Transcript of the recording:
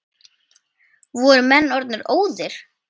Voru menn orðnir óðir!